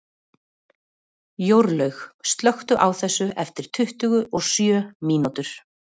Jórlaug, slökktu á þessu eftir tuttugu og sjö mínútur.